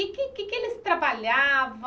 E no que é que eles trabalhavam?